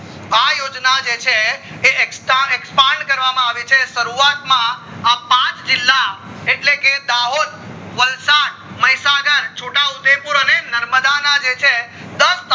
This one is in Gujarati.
આ યોજના જે છે એ expand કરવામાં આવી છે શરૂવાત માં પાંચ જીલ્લા માં એટલે કે દાહોદ વલસાડ મહીસાગર છોટા ઉદયપુર અને નર્મદા ના જે છે દસ તાલુકા